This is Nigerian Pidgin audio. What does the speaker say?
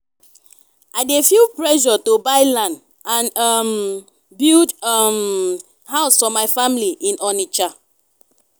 i dey feel pressure to buy land and um build um house for my family in onitsha.